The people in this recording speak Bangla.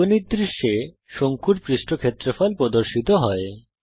বীজগণিত দৃশ্যে শঙ্কুর পৃষ্ঠ ক্ষেত্রফল প্রদর্শিত হয়